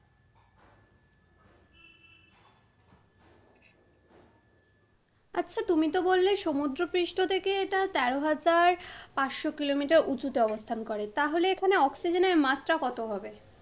আচ্ছা তুমি তো বললে সমুদ্রপৃষ্ঠ থেকে এটা তের হাজার পাঁচশো Kilometer উচুতে অবস্থান করে, তাহলে এখানে অক্সিজেনের মাত্রা কত হবে?